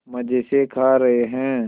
मज़े से खा रहे हैं